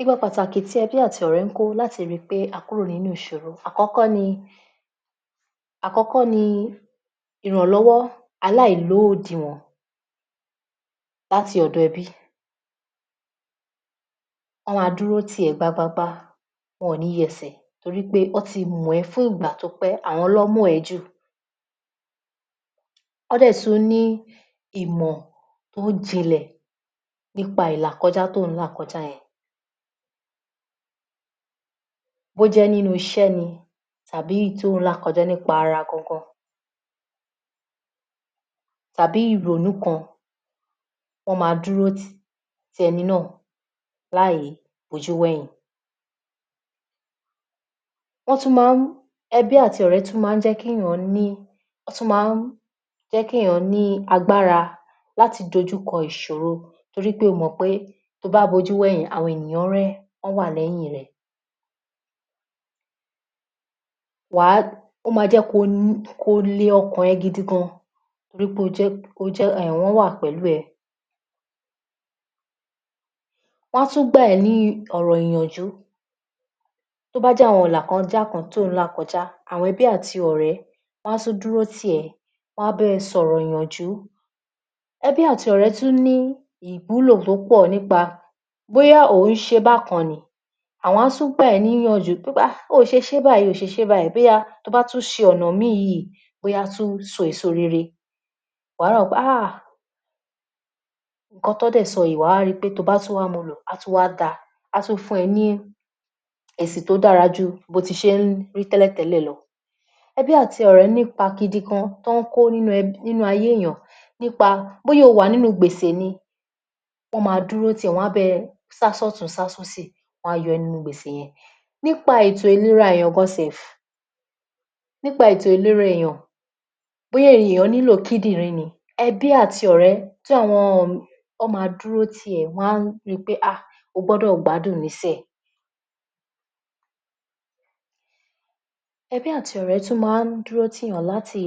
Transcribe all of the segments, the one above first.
Ipa pàtàkì tí ẹbí àti ọ̀rẹ́ ń kó láti ríi pé a kúrò nínú ìsòro àkọ́kọ́ ni àkọ́kọ́ ni ìrànlọ́wọ́ aláì lódiwọ̀n láti ọ̀dọ̀ ẹbí wọ́n máa dúró tì ọ́ gbágbágbá wọn ò ní yẹn ẹsẹ̀ torí pé wọ́n ti mọ̀ ọ́ fún ìgbà tó pẹ́ àwọn ló mọ̀ ó jù. Wọ́n sì tún ní ìmọ̀ tó jinlẹ̀ nípa ìlàkọjá tí ò ń láà kọjá yẹn bó jẹ́ nínú isé ni tàbí èyí tí ò ń làkọjá nínú ara gangan tàbí ìrònú kan wọ́n máa dúró ti ẹni náà láì bojú wẹ̀yìn wọ́n tún máa ń ẹbí àti ọ̀rẹ́ máa tún jẹ́ kí èyàn ní wọ́n tún máa ń jẹ́ kí èyàn ní agbára láti dojúkọ ìsòro torí pé o mọ̀ pé tí o bá bojú wọ ẹ̀yìn torí pé o mọ̀ pẹ́ tóo bá bojú wo ẹ̀yìn àwọn ènìyàn rẹẹ wọ́n wà lẹ̀yín rẹ. ó máa jẹ́ kí o lee ọkàn rẹ gidi gan-an torí pé o jẹ́ wọ́n wà pẹ̀lú rẹẹ wọ́n á tún gbà ọ́ ní ọ̀rọ̀ ìyànjú tó bájẹ́ àwọn ìlàkọjá kan tí o ń làkọjá àwọn ẹbí àti ọ̀rẹ́ wọ́n á tún dúró tì ọ́ wọ́n á bá ọ sọ̀rọ̀ ìyànjú. ẹbí àti ọ̀rẹ́ tún ní ìwúlò tó pọ̀ nípa bóyá òhun șe bákan ni àwọn á tún gbáà ọ́ ní ìyànjú pé oòșe șé báyìí oòșe șé báyìí bóyá tí o bá tún șe ọ̀nà míì yíì bóyá á tún so èso rere wàá rò pé áà ìkan tí wọ́n síì șọ yíì tí o bá tún wá múu lò á tún wá dáa á tún fún ọ ní èsì tó dára jù bí o șe máa ń ríi tẹ́lẹ̀ tẹ́lẹ́ẹ̀ lo. ẹbí àti ọ̀rẹ́ nípa gidi gan-an tọ́ ún kó ní ẹbí nínú ayé èyàn nípa bóyá o wà nínú gbè sè ni wọ́n máa dúró tì ọ́ wọ́n máa sá sí ọ̀tún sásí òsì wọ́n á yọ ọ́ nínú gbèsè yẹn nípa ètò ìlẹra èyàn gan self nípa ètò ìlẹra èyàn bóyá èyàn nílò kídìrín ni ẹbí àti ọ̀rẹ́ ti àwọn wọ́n máa dúró tì ẹ́ wọ́n á ri pé o gbodò gbádùn níșinyìí ẹbí àti ọ̀rẹ́ máa n dúró ti èyàn láti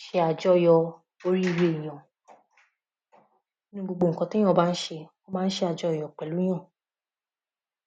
șe àjọyọ̀ orirée ènìyàn nínú gbogbo ìkan tí èyàn bá ń șe wọ́n máa ń șe àjọyọ̀ pẹ̀lú yan